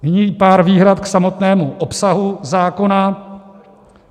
Nyní pár výhrad k samotnému obsahu zákona.